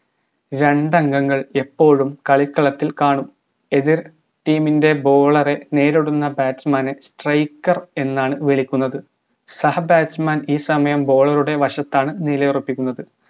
രണ്ടംഗങ്ങൾ എപ്പോഴും കളിക്കളത്തിൽ കാണും എതിർ team ൻറെ bowler നേരിടുന്ന batsman നെ striker എന്നാണ് വിളിക്കുന്നത് സഹ batsman ഈ സമയം bowler ടെ വശത്താണ് നിലയുറപ്പിക്കുന്നത്